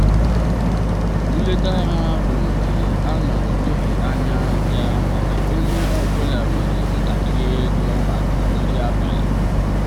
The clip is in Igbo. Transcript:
nleta ha bụ nke a na-atụghị anya ya mana onye ọ bụla nyere ntakịrị ego maka nri abalị.